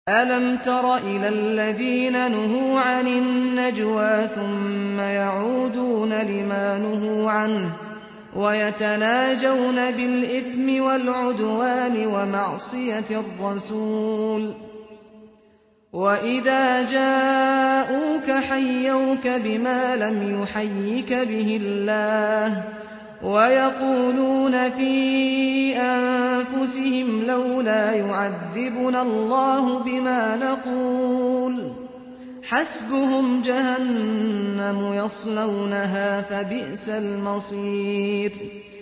أَلَمْ تَرَ إِلَى الَّذِينَ نُهُوا عَنِ النَّجْوَىٰ ثُمَّ يَعُودُونَ لِمَا نُهُوا عَنْهُ وَيَتَنَاجَوْنَ بِالْإِثْمِ وَالْعُدْوَانِ وَمَعْصِيَتِ الرَّسُولِ وَإِذَا جَاءُوكَ حَيَّوْكَ بِمَا لَمْ يُحَيِّكَ بِهِ اللَّهُ وَيَقُولُونَ فِي أَنفُسِهِمْ لَوْلَا يُعَذِّبُنَا اللَّهُ بِمَا نَقُولُ ۚ حَسْبُهُمْ جَهَنَّمُ يَصْلَوْنَهَا ۖ فَبِئْسَ الْمَصِيرُ